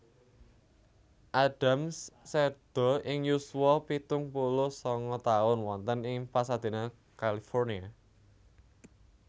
Adams seda ing yuswa pitung puluh sanga taun wonten ing Pasadena California